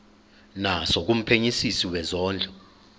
naso kumphenyisisi wezondlo